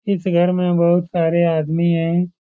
इस घर मे बहुत सारे आदमी हैं।